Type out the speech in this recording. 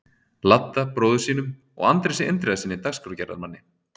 Ladda, bróður sínum, og Andrési Indriðasyni dagskrárgerðarmanni.